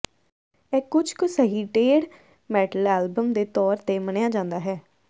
ਇਹ ਕੁਝ ਕੁ ਸਹੀ ਡੇਥ ਮੈਟਲ ਐਲਬਮ ਦੇ ਤੌਰ ਤੇ ਮੰਨਿਆ ਜਾਂਦਾ ਹੈ